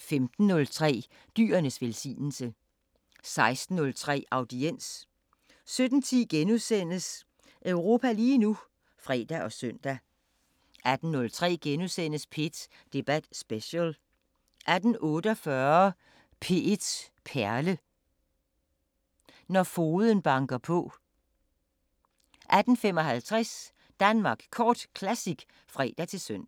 15:03: Dyrenes velsignelse 16:03: Audiens 17:10: Europa lige nu *(fre og søn) 18:03: P1 Debat Special * 18:48: P1 Perle: Når fogden banker på 18:55: Danmark Kort Classic (fre-søn)